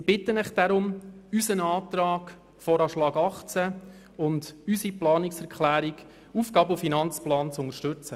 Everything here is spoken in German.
Deshalb bitte ich Sie, unseren Antrag zum VA 2018 sowie unsere Planungserklärung zum AFP zu unterstützen.